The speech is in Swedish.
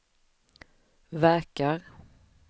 verkar